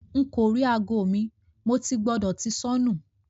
Nko ri aago mi; Mo ti gbọdọ ti sọnu